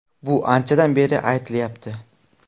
Bu anchadan beri aytilyapti.